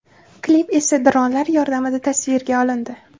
Klip esa dronlar yordamida tasvirga olindi.